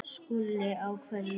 SKÚLI: Á hverju?